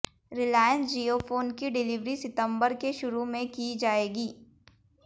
रिलायंस जियोफोन की डिलीवरी सितंबर के शुरू में की जाएगी